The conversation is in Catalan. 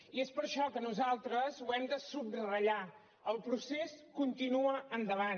i és per això que nosaltres ho hem de subratllar el procés continua endavant